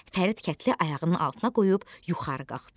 Fərid kətli ayağının altına qoyub yuxarı qalxdı.